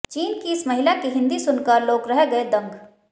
चीन की इस महिला की हिंदी सुनकर लोग रह गए दंग